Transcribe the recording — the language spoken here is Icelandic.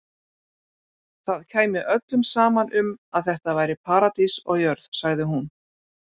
Það kæmi öllum saman um að þetta væri paradís á jörð, sagði hún.